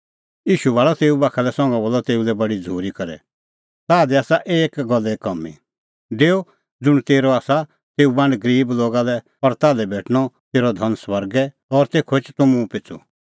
ईशू भाल़अ तेऊ बाखा लै संघा बोलअ तेऊ लै बडी झ़ूरी करै ताह दी आसा एकी गल्ले कामीं डेऊ ज़ुंण तेरअ आसा तेऊ बांड गरीब लोगा लै और ताल्है भेटणअ तेरअ धन स्वर्गै और तेखअ एछ तूह मुंह पिछ़ू